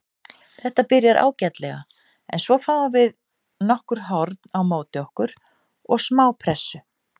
Þetta byrjar ágætlega en svo fáum við nokkur horn á móti okkur og smá pressu.